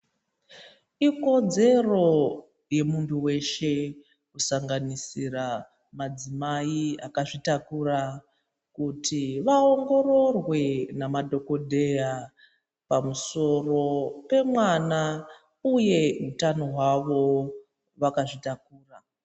Ikodzero yemuntu weshe kusanganisira madzimai akazvitakura kuti vaongororwe nemadhokodheya pamusoro pemwana uye utano hwawo vakazvitakura.